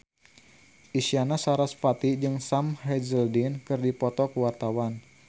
Isyana Sarasvati jeung Sam Hazeldine keur dipoto ku wartawan